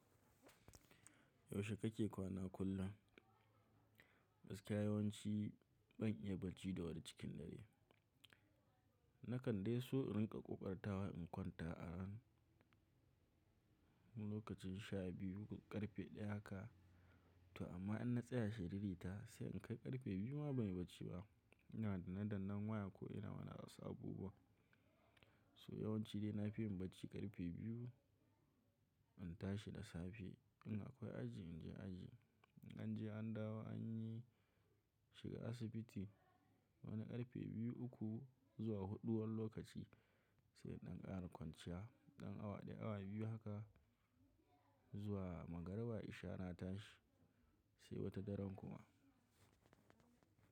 Yaushe kake kwana kullum? Gaskiya yawanci ban iya barci da wuri cikin dare. Na kan dai so in riƙa ƙoƙartawa in kwanta arounf lokacin sha biyu ƙarfe ɗaya haka. To amma in na tsaya shiriri ta sai in kai ƙarfe biyu ma ban yi barci ba. Ina danna dannan waya ko ina wani wasu abubuwa. So yawanci dai na fi yin barci ƙarfe biyu, in tashi da safe in akwai aji in je aji. In an je an dawo an yi shiga asibiti Wani ƙarfe biyu, uku zuwa huɗu wani lokaci. Sai in ɗan ƙara kwanciya ɗan awa ɗaya awa biyu haka. Zuwa magariba, isha na tashi. Sai wata daren kuma.